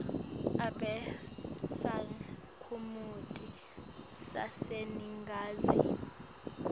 abe sakhamuti saseningizimu